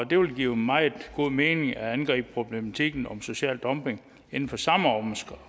det ville give meget god mening at angribe problematikken om social dumping inden for samme